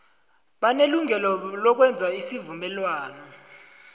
banelungelo lokwenza isivumelwano